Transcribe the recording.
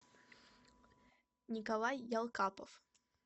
николай ялкапов